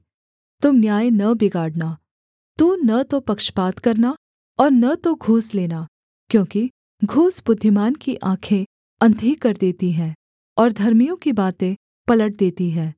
तुम न्याय न बिगाड़ना तू न तो पक्षपात करना और न तो घूस लेना क्योंकि घूस बुद्धिमान की आँखें अंधी कर देती है और धर्मियों की बातें पलट देती है